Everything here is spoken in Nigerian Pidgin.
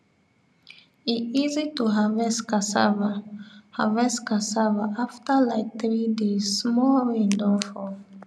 e easy to harvest cassava harvest cassava after like three days small rain don fall